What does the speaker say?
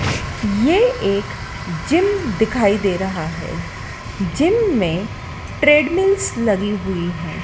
ये एक जिम दिखाई दे रहा है जिम में ट्रेडमिलस लगी हुई है।